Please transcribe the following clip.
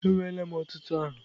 Enweela m ọtụtụ aha.